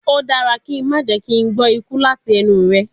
O dara ki n ma jẹ ki n gbọ iku lati ẹnu rẹ